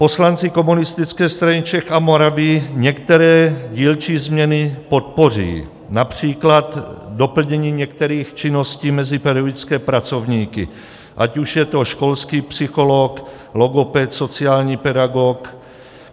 Poslanci Komunistické strany Čech a Moravy některé dílčí změny podpoří, například doplnění některých činností mezi pedagogické pracovníky, ať už je to školský psycholog, logoped, sociální pedagog.